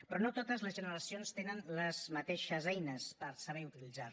però no totes les generacions tenen les mateixes eines per saber utilitzar les